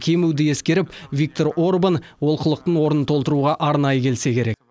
кемуді ескеріп виктор орбан олқылықтың орнын толтыруға арнайы келсе керек